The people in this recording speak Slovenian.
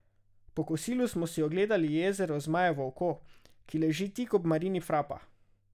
Po kosilu smo si ogledali jezero Zmajevo oko, ki leži tik ob marini Frapa.